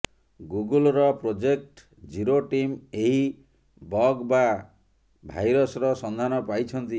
ଗୁଗୁଲ୍ର project zero team ଏହି bug ବା ଭାଇରସ୍ର ସନ୍ଧାନ ପାଇଛନ୍ତି